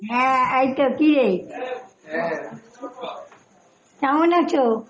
হ্যাঁ, এইতো কী রে কেমন আছো?